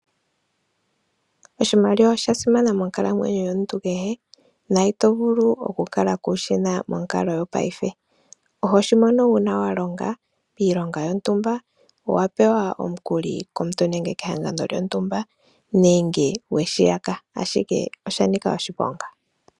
Oshimaliwa osha simana monkalamwenyo yomuntu kehe, na ito vulu oku kala kushina monkalo yopaife. Ohoshi mono una wa longa piilonga yontumba, owa pewa omukuli komuntu nenge kehangano lyontumba, nenge weshi yaka, ashike osha nika oshiponga.